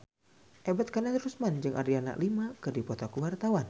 Ebet Kadarusman jeung Adriana Lima keur dipoto ku wartawan